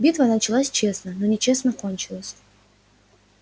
битва началась честно но нечестно кончилась